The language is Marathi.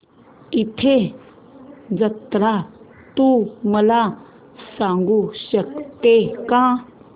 रथ जत्रा तू मला सांगू शकतो का